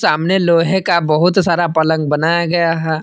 सामने लोहे का बहुत सारा पलंग बनाया गया है।